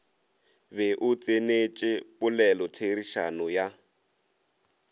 be o tsenetše polelotherišano ya